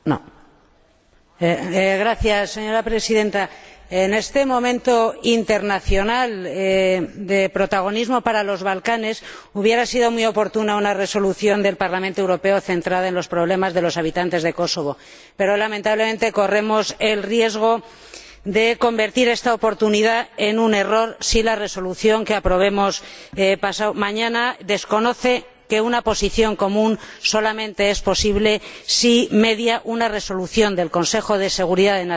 Señora Presidenta, en este momento de protagonismo internacional para los Balcanes, habría sido muy oportuna una resolución del Parlamento Europeo centrada en los problemas de los habitantes de Kosovo, pero lamentablemente corremos el riesgo de convertir esta oportunidad en un error si la resolución que aprobemos pasado mañana desconoce que una posición común solamente es posible si media una resolución del Consejo de Seguridad de las Naciones Unidas o hay un acuerdo